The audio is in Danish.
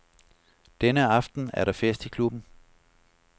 Denne aften er der fest i klubben.